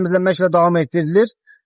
Təmizləmə işləri davam etdirilir.